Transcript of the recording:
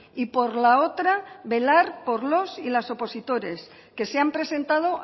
y por la otra velar por los y las opositores que se han presentado